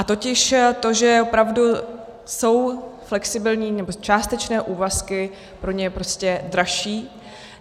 A totiž to, že opravdu jsou flexibilní nebo částečné úvazky pro ně prostě dražší.